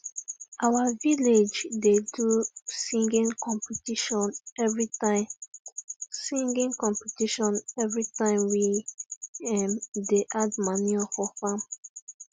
our village da do singing competition everytime singing competition everytime we um da add manure for farm